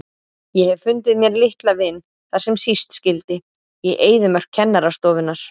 Ég hef fundið mér litla vin þar sem síst skyldi, í eyðimörk kennarastofunnar.